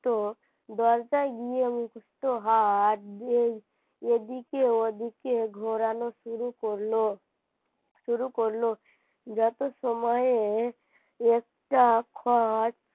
তো দরজায় গিয়ে তো হাত এদিকে ওদিকে ঘোরানো শুরু করল শুরু করল যত সময়ে একটা খট